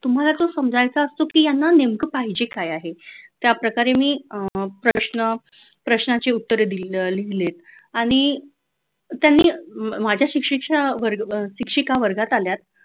तुम्हाला ते समजायचं असतं की यांना नेमके पाहिजे काय आहे अशाप्रकारे मी प्रश्न प्रश्नांची उत्तरे दिली लिहिलेत आणि त्यांनी माझ्या परीक्षेच्या शिक्षिका वर्गात आल्या